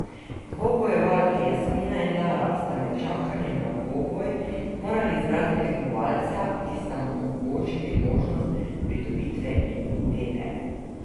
Dvobojevalki Jasmina in Lara sta med čakanjem na dvoboj morali izbrati tekmovalca, ki sta mu omogočili možnost pridobitve imunitete.